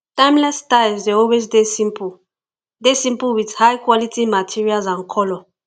timeless styles dey always dey simple dey simple with high quality materials and color